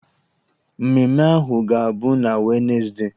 Mmemme ahụ ga-abụ na Wenezdee.